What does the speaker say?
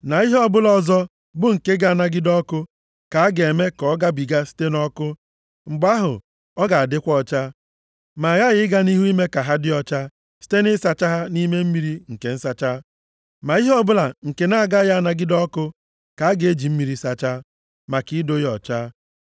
na ihe ọ bụla ọzọ bụ nke ga-anagide ọkụ, ka a ga-eme ka ọ gabiga site nʼọkụ, mgbe ahụ ọ ga-adịkwa ọcha. Ma aghaghị ịga nʼihu ime ka ha dị ọcha site nʼịsacha ha nʼime mmiri nke nsacha. Ma ihe ọbụla nke na-agaghị anagide ọkụ ka a ga-eji mmiri sachaa, maka ido ya ọcha.